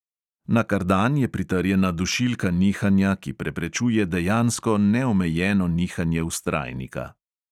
Na kardan je pritrjena dušilka nihanja, ki preprečuje dejansko neomejeno nihanje vztrajnika.